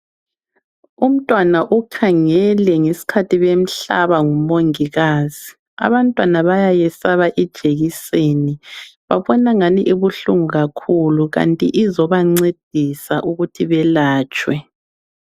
Umntwana ukhangele ngesikhathi bemhlaba ngumongikazi. Abantwana bayayesaba ijekiseni, babona angani ibuhlungu kakhulu kanti izobancedisa ukuthi belatshwe.